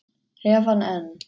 Hef hann enn.